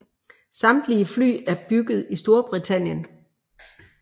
Samtlige fly er bygget i Storbritannien